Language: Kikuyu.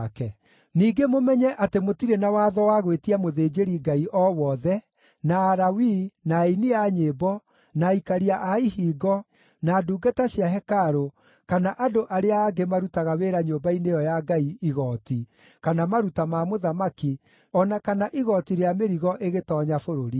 Ningĩ mũmenye atĩ mũtirĩ na watho wa gwĩtia mũthĩnjĩri-Ngai o wothe, na Alawii, na aini a nyĩmbo, na aikaria a ihingo, na ndungata cia hekarũ, kana andũ arĩa angĩ marutaga wĩra nyũmba-inĩ ĩyo ya Ngai igooti, kana maruta ma mũthamaki o na kana igooti rĩa mĩrigo ĩgĩtoonya bũrũri-inĩ.